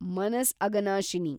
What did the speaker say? Manas Aghanashini